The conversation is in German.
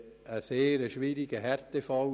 Seine Familie galt als Härtefall;